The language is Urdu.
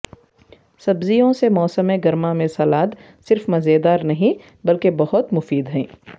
سبزیوں سے موسم گرما میں سلاد صرف مزیدار نہیں بلکہ بہت مفید ہیں